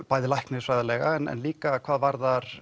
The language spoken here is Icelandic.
bæði læknisfræðilega en líka hvað varðar